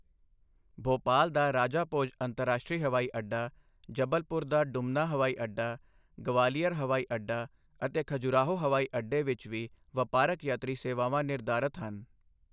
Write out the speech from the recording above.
ਭੋਪਾਲ ਦਾ ਰਾਜਾ ਭੋਜ ਅੰਤਰਰਾਸ਼ਟਰੀ ਹਵਾਈ ਅੱਡਾ, ਜਬਲਪੁਰ ਦਾ ਦੁਮਨਾ ਹਵਾਈ ਅੱਡਾ, ਗਵਾਲੀਅਰ ਹਵਾਈ ਅੱਡਾ ਅਤੇ ਖਜੁਰਾਹੋ ਹਵਾਈ ਅੱਡੇ ਵਿੱਚ ਵੀ ਵਪਾਰਕ ਯਾਤਰੀ ਸੇਵਾਵਾਂ ਨਿਰਧਾਰਤ ਹਨ।